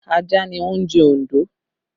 Ajá ni oúnjẹ Ondo